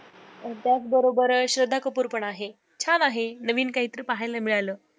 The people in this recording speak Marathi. त्याच बरोबर अं श्रद्धा कपूर पण आहे, छान आहे नवीन काहीतरी पाहायला मिळालं.